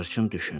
Sığırçın düşündü.